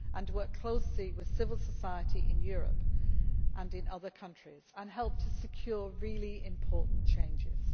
He has also worked closely with civil society in Europe and in other countries, and helped to secure really important changes.